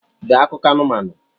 Dee akụkọ anumanu!